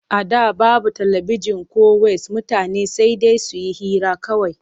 A da babu talabijin ko ways mutane sai dai su yi hira kawai.